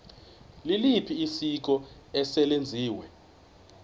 liliphi isiko eselenziwe